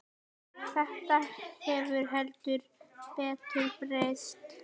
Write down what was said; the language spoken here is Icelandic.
Þetta hefur heldur betur breyst.